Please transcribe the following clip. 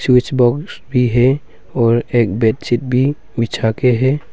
भी है और एक बेडशीट भी बिछा के है।